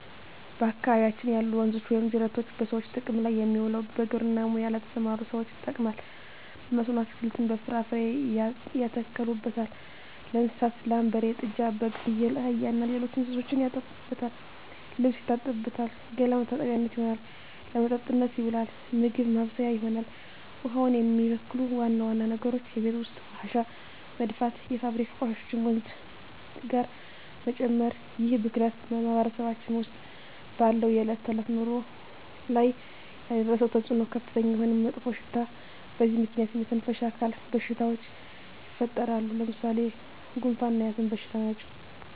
በአካባቢያችን ያሉ ወንዞች ወይም ጅረቶች በሰዎች ጥቅም ላይ የሚውለው በግብርና ሙያ ለተሠማሩ ሠዎች ይጠቅማል። በመስኖ አትክልትን፣ ፍራፍሬ ያተክሉበታል። ለእንስሳት ላም፣ በሬ፣ ጥጃ፣ በግ፣ ፍየል፣ አህያ እና ሌሎች እንስሶችን ያጠጡበታል፣ ልብስ ይታጠብበታል፣ ገላ መታጠቢያነት ይሆናል። ለመጠጥነት ይውላል፣ ምግብ ማብሠያ ይሆናል። ውሃውን የሚበክሉ ዋና ዋና ነገሮች የቤት ውስጥ ቆሻሻ መድፋት፣ የፋብሪካ ቆሻሾችን ወንዙ ጋር መጨመር ይህ ብክለት በማህበረሰባችን ውስጥ ባለው የዕለት ተዕለት ኑሮ ላይ ያደረሰው ተፅዕኖ ከፍተኛ የሆነ መጥፎሽታ በዚህ ምክንያት የመተነፈሻ አካል በሽታዎች ይፈጠራሉ። ለምሣሌ፦ ጉንፋ እና የአስም በሽታ ናቸው።